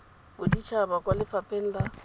bodit haba kwa lefapheng la